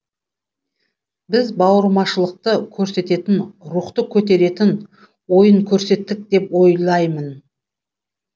біз бауырмашылықты көрсететін рухты көтеретін ойын көрсеттік деп ойлаймын